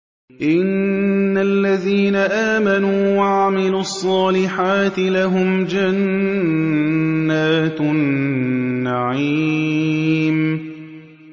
إِنَّ الَّذِينَ آمَنُوا وَعَمِلُوا الصَّالِحَاتِ لَهُمْ جَنَّاتُ النَّعِيمِ